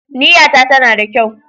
Niyyata tana da kyau.